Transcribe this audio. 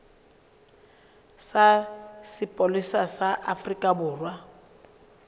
sa sepolesa sa afrika borwa